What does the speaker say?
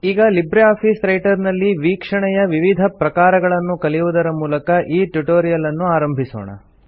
ಈಗ Libre office writer ನಲ್ಲಿ ವೀಕ್ಷಣೆಯ ವಿವಿಧ ಪ್ರಕಾರಗಳನ್ನು ಕಲಿಯುವುದರ ಮೂಲಕ ಈ ಟ್ಯುಟೋರಿಯಲ್ ಅನ್ನು ಆರಂಭಿಸೋಣ